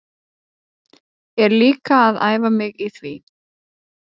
Er líka að æfa mig í því.